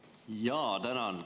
Jaa, tänan!